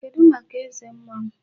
Kedụ maka eze mmụọ?